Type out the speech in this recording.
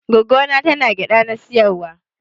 Gwaggo na tana gyada na siyarwa.